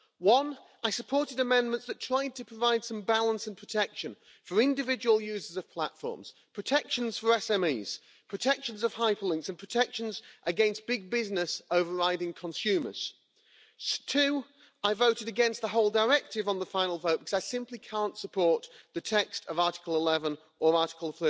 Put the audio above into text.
One, I supported amendments that try to provide some balance and protection for individual users of platforms protections for SMEs, protection of hyperlinks and protection against big business overriding consumers. Two, I voted against the whole directive on the final vote because I simply cannot support the text of Article 11 or Article